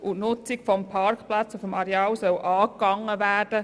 Die Nutzung der Parkplätze auf dem Areal soll angegangen werden.